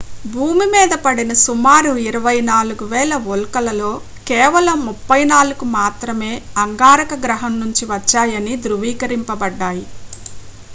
భూమి మీద పడిన సుమారు 24,000 ఉల్కలలో కేవలం 34కు మాత్రమే అంగారక గ్రహం నుంచి వచ్చాయని ధృవీకరించబడ్డాయి